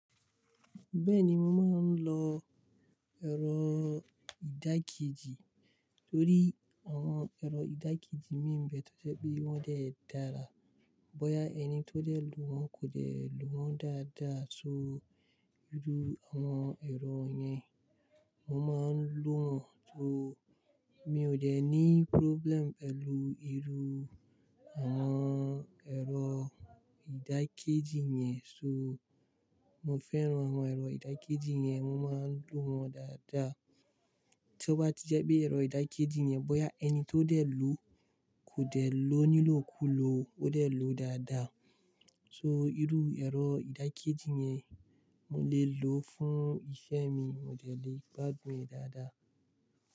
Bẹ́ẹ̀ni, mo máa ń lọ ẹ̀rọ ìdágijì torí àwọn ẹ̀rọ ìdágijì mí ń bẹẹ to jẹ pe wọ́n dé dára. Bóyá ẹni tó de lò wọ́n kò de lò wọ́n dáadáa so, irú àwọn ẹ̀rọ yẹn mo máa ń lò wọ́n. So mi ò de ní problem pẹ̀lú irú àwọn ẹ̀rọ ìdákéjì yẹn. So mo fẹ́ràn àwọn ẹ̀rọ ìdákéjì yẹn, mo máa ń lò wọ́n dáadáa. Tí ó bá ti jẹ́ pé ẹ̀rọ ìdákéjì yẹn, bóyá ẹni tó de lò kò de lò nílò kú lò, ó de lò dáadáa. So irú ẹ̀rọ ìdákéjì yẹn mo lè lò fún iṣẹ́ mi, mo de lè gbádùn e dáadáa.